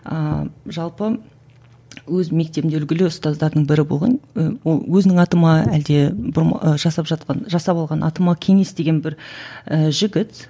ыыы жалпы өз мектебінде үлгілі ұстаздардың бірі болған ол өзінің аты ма әлде жасап жатқан жасап алған аты ма кеңес деген бір і жігіт